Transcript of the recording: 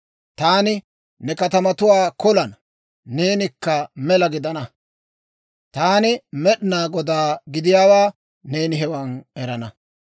Taani ne katamatuwaa kolana; neenikka mela gidana. Taani Med'inaa Godaa gidiyaawaa neeni hewan erana.